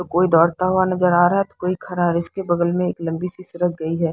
कोई दौड़ता हुआ नजर आ रहा है तो कोई खड़ा है इसके बगल मे लंबी सी सड़क गई है।